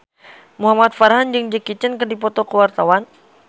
Muhamad Farhan jeung Jackie Chan keur dipoto ku wartawan